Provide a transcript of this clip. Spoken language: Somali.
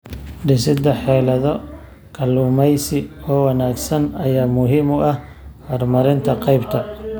Dhisida xeelado kalluumaysi oo wanaagsan ayaa muhiim u ah horumarinta qaybta.